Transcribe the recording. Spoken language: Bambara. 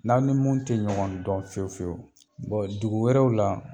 N'aw ni mun tɛ ɲɔgɔn dɔn fiyewu fiyewu dugu wɛrɛw la